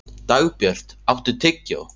Dagbjört, áttu tyggjó?